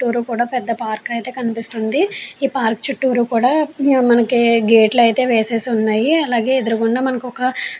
చుట్టూర కూడ పెద్ద పార్క్ అయితె కనిపిస్తుంది. ఈ పార్క్ చుట్టూరు కూడ మనకి గేట్ లు అయితె వేసి వున్నాయ్. అలాగే ఎదురుగుండ కూడా ఒక --